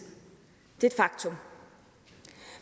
det er et faktum